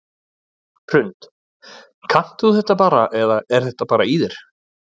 Hrund: Kannt þú þetta bara eða er þetta bara í þér?